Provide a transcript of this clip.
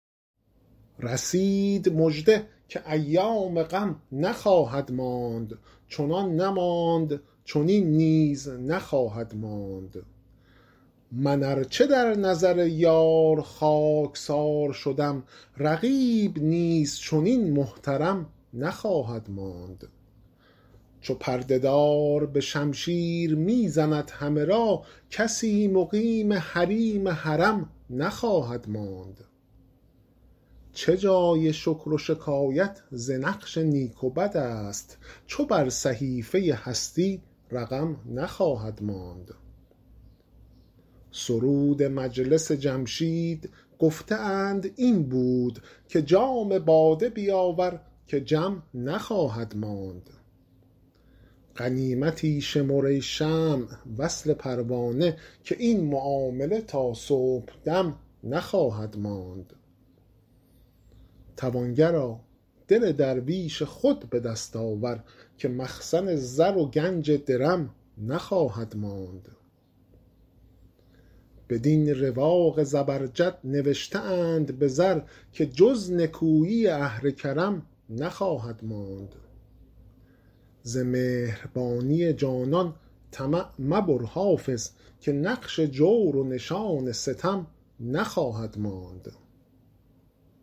رسید مژده که ایام غم نخواهد ماند چنان نماند چنین نیز هم نخواهد ماند من ار چه در نظر یار خاک سار شدم رقیب نیز چنین محترم نخواهد ماند چو پرده دار به شمشیر می زند همه را کسی مقیم حریم حرم نخواهد ماند چه جای شکر و شکایت ز نقش نیک و بد است چو بر صحیفه هستی رقم نخواهد ماند سرود مجلس جمشید گفته اند این بود که جام باده بیاور که جم نخواهد ماند غنیمتی شمر ای شمع وصل پروانه که این معامله تا صبح دم نخواهد ماند توانگرا دل درویش خود به دست آور که مخزن زر و گنج درم نخواهد ماند بدین رواق زبرجد نوشته اند به زر که جز نکویی اهل کرم نخواهد ماند ز مهربانی جانان طمع مبر حافظ که نقش جور و نشان ستم نخواهد ماند